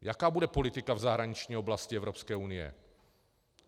Jaká bude politika v zahraniční oblasti Evropské unie?